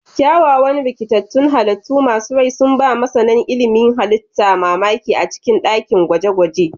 Kyawawan rikitattun halittu masu rai sun ba masana ilimin halitta mamaki a cikin dakin gwaje-gwaje.